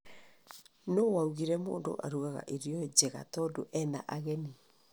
Nũũ waugire mũndũ arugaga irio njega tondu ena ageni?